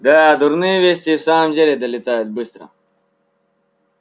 да дурные вести и в самом деле долетают быстро